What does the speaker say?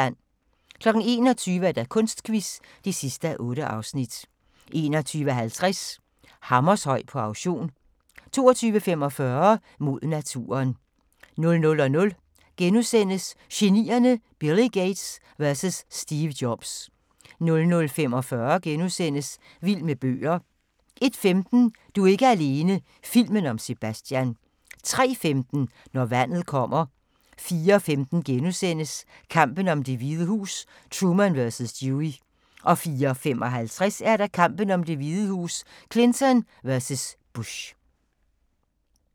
21:00: Kunstquiz (8:8) 21:50: Hammershøi på auktion 22:45: Mod naturen 00:00: Genierne: Billy Gates vs Steve Jobs * 00:45: Vild med bøger * 01:15: Du er ikke alene - filmen om Sebastian 03:15: Når vandet kommer 04:15: Kampen om Det Hvide Hus: Truman vs. Dewey * 04:55: Kampen om Det Hvide Hus: Clinton vs. Bush